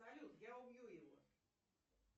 салют я убью его